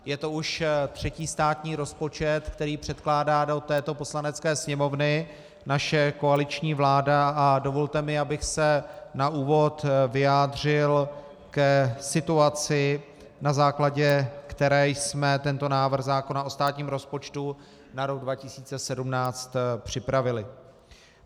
Je to už třetí státní rozpočet, který předkládá do této Poslanecké sněmovny naše koaliční vláda, a dovolte mi, abych se na úvod vyjádřil k situaci, na základě které jsme tento návrh zákona o státním rozpočtu na rok 2017 připravili.